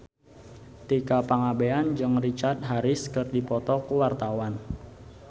Tika Pangabean jeung Richard Harris keur dipoto ku wartawan